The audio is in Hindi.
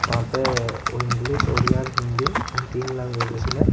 वहां पे इंग्लिश ओड़िया और हिंदी इन तीन लैंग्वेजेस में--